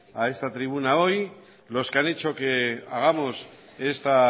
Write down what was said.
a esta tribuna hoy los que han hecho que hagamos esta